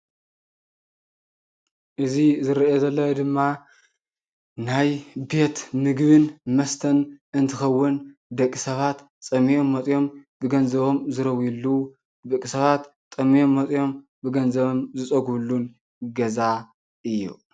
እዚ ዝረኣ ዘሎ ድማ ናይ ቤት ምግብን መስተን እንትኸውን ደቂ ሰባት ፀሚኦም መፂኦም ብገንዘቦም ዝረዊሉ ደቂ ሰባት ጠምዮም መፂኦም ብገንዘቦም ዝፀግብሉን ገዛ እዩ።